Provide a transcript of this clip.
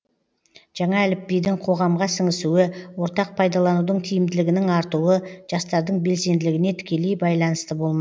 жаңа әліпбидің қоғамға сіңісуі ортақ пайдаланудың тиімділігінің артуы жастардың белсенділігіне тікелей байланысты болмақ